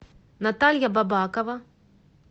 наталья бабакова